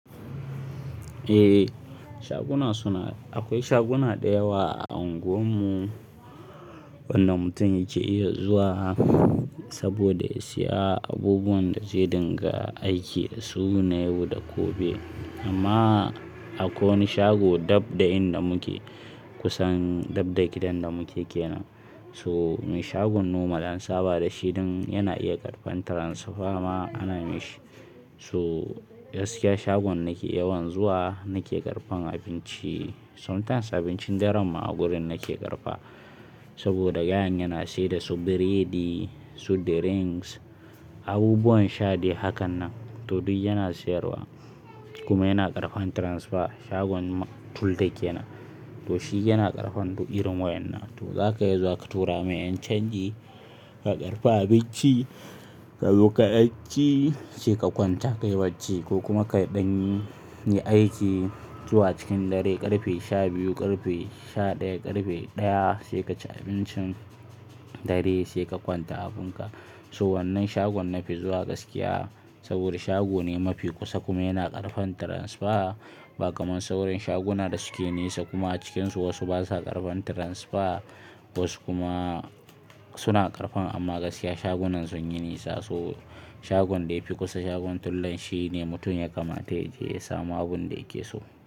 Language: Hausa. Eh shaguna suna, akwai shaguna da yawa a anguwar mu wanda mutum yake iya zuwa saboda ya siya abubuwan da zai dinga aiki a su na yau da gobe. Amma akwai wani shago dab da inda muke kusan dab da gidan da muke kenan. So mai shagon nomal an saba dashi dan yana iya karɓan tiransifa ma ana mishi. So gaskiya shagon nake yawan zuwa nake karfan abinci sometimes abincin daren ma a gurin nake karɓa saboda gayan yana seda su biredi, so drinks, abubuwan sha de hakan nan to duk yana siyarwa kuma yana karfan transifa. Shagon tulde kenan to shi yana karɓan du irin wayan nan. To zaka iya zuwa ka tura mai 'yan canji ka karfa abinci ka zo ka ɗanci sai ka kwanta kai bacci ko kuma ka ɗan yi aiki zuwa cikin dare karfe shabiyu, karfe sha daya, karfe daya sai kaci abincin dare sai ka kwanta abin ka. So wannan shagon nafi zuwa gaskiya saboda shago ne mafi kusa kuma yana karɓan tiransifa ba kamar sauran shaguna da suke nesa kuma a cikinsu wasu basa karfan tiransifa wasu kuma suna karɓan amma gaskiya shagunan sun yi nisa. So shagon da yafi kusa shagon tullan shine mutum ya kamata ya iya samun abunda yake so.